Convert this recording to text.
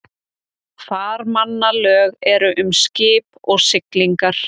Farmannalög eru um skip og siglingar.